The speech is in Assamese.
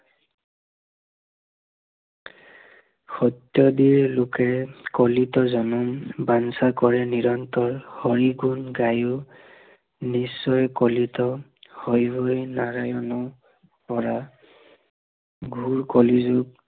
সত্য়দিৰ লোকে কলিত জনম বাঞ্চা কৰে নিৰন্তৰ হৰি গুণ গায়ো, নিশ্চয় কলিত, হৰি হৰি নাৰায়ণ, পৰা ঘোৰ কলি যুগ